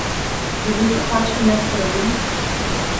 Je bil tu kakšen nesporazum?